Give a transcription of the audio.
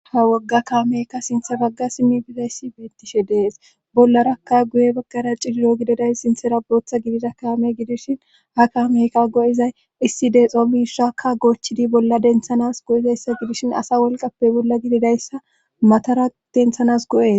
Ha wogga kaameykka sinthe bagga simi bizayssi beettishe dees bollarakka guye baggara cidiro gididay sinthera bootha gidida kaame gidishin ha kaameyka go7izay issi deexoomishshakka goochidi bolla denthanas go7izayssa gidishin asa wolqappe bolla gididayssa matara denthanas go7es.